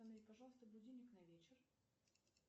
установи пожалуйста будильник на вечер